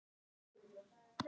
Söngur, sögur og myndir.